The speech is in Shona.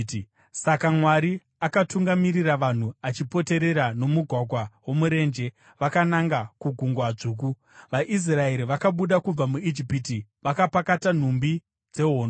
Saka Mwari akatungamirira vanhu vachipoterera nomumugwagwa womurenje vakananga kuGungwa Dzvuku. VaIsraeri vakabuda kubva muIjipiti vakapakata nhumbi dzehondo.